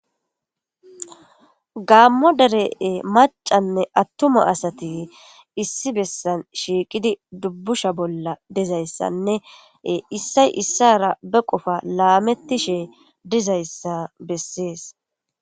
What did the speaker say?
Gammo deree macanne attuma asati issi bessan shiiqidi dubbusha bolla dizayssanne issay issara be qofa laametti shee dizayssa bessees